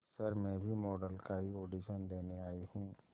sir मैं भी model का ही ऑडिशन देने आई हूं